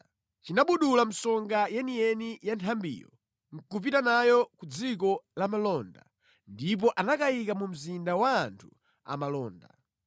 Chinabudula msonga yeniyeni ya nthambiyo nʼkupita nayo ku dziko lamalonda ndipo anakayika mu mzinda wa anthu amalonda.